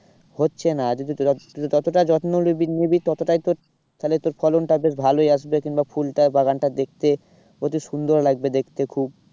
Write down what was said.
হচ্ছে না যদি যত্ন নিবি ততটাই তোর তাহলে তোর ফলনটা বেশ ভালোই আসবে কিংবা ফুলটা বাগানটা দেখতে অতি সুন্দর লাগবে দেখতে খুব